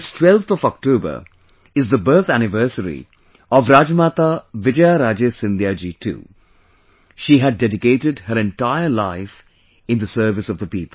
This 12th of October is the birth anniversary of Rajmata Vijaya Raje Scindia ji too She had dedicated her entire life in the service of the people